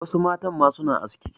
Wasu matan ma suna aski.